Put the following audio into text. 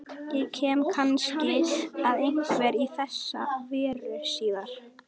Ég kem kannski að einhverju í þessa veru síðar.